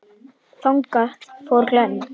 Þangað fór Glenn.